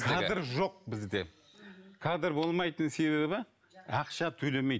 кадр жоқ бізде кадр болмайтын себебі ақша төлемейді